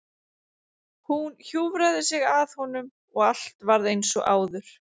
Hún hjúfraði sig að honum og allt varð eins og áður.